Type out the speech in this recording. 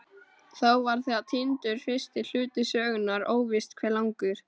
Þá var þegar týndur fyrsti hluti sögunnar, óvíst hve langur.